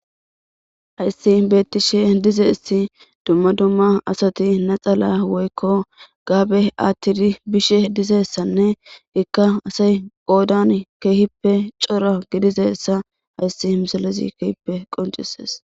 Hayssi beetishe diza iss dumma dumma asati naxala woykko gabbe atidi bishe diza issanne qassika asayi qoddani kehippe cora giddiza issa qassi ha misiezi tasi keehipe qonccises.